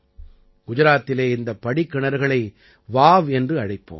குஜராத்திலே இந்த படிக்கிணறுகளை வாவ் என்று அழைப்போம்